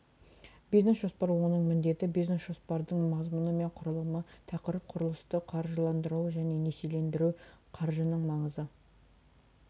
бизнес жоспар оның міндеті бизнес жоспардың мазмұны мен құрылымы тақырып құрылысты қаржыландыру және несиелендіру қаржының маңызы